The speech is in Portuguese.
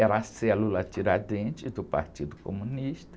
Era a célula Tiradentes do Partido Comunista.